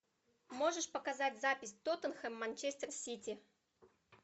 можешь показать запись тоттенхэм манчестер сити